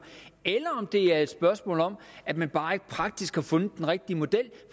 eller om det er et spørgsmål om at man bare ikke praktisk har fundet den rigtige model